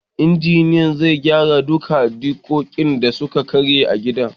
Injiniyan zai gyara duka dikodin da suka karye a gidan